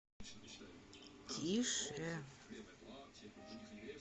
тише